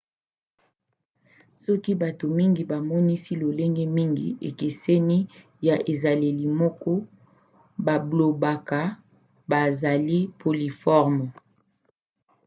soki bato mingi bamonisi lolenge mingi ekeseni ya ezaleli moko bablobaka bazali polymorphes